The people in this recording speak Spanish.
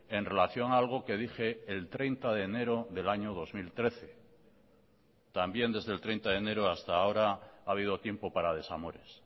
en relación a algo que dije el treinta de enero del año dos mil trece también desde el treinta de enero hasta ahora ha habido tiempo para desamores